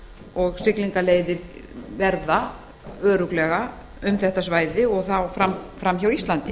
og siglingaleiðir verða örugglega um þetta svæði og þá fram hjá íslandi